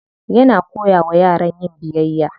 Yana koya wa yara yin biyayya.